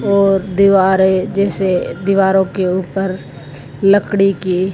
और दीवारें जिसे दीवारों के ओर लकड़ी के--